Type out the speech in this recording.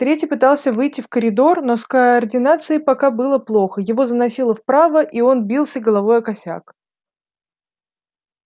третий пытался выйти в коридор но с координацией пока было плохо его заносило вправо и он бился головой о косяк